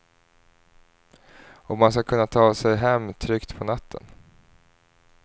Och att man ska kunna ta sig hem tryggt på natten.